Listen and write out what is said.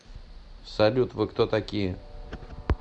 салют вы кто такие